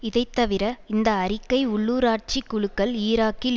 இதைத்தவிர இந்த அறிக்கை உள்ளூராட்சி குழுக்கள் ஈராக்கில்